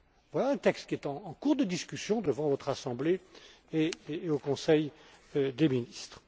Voilà un texte qui est en cours de discussion devant votre Assemblée et au Conseil des ministres.